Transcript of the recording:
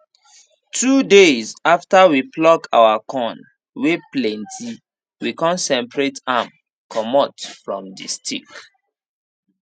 two days after we pluck our corn wey plenty we con separate am comot from the stick